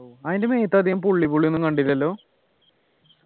അതിൻ്റെ മേത്തധികം പുള്ളി പുള്ളി ഒന്നും കണ്ടില്ലല്ലോ